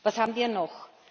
Was haben wir noch?